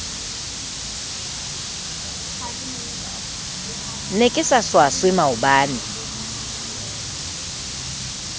ne ke sa swaswe maoba